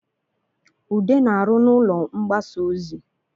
Ude na-arụ n’ụlọ mgbasa ozi